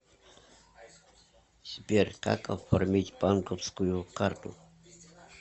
сбер как оформить банковскую карту